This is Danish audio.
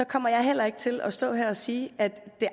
kommer jeg heller ikke til at stå her og sige at